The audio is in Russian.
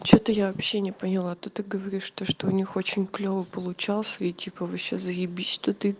что-то я вообще не поняла ты так говоришь то что у них очень клёво получался и типа вообще заебись что ты